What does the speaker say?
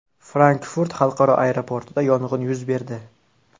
Frankfurt xalqaro aeroportida yong‘in yuz berdi.